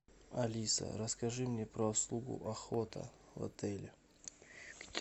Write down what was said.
алиса расскажи мне про услугу охота в отеле